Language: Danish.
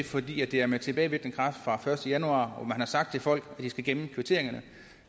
fordi det er med tilbagevirkende kraft fra første januar og man har sagt til folk at de skal gemme kvitteringerne